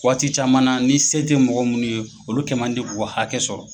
Waati caman na ni se tɛ mɔgɔ munnu ye olu kɛ man di k'u ka hakɛ sɔrɔ.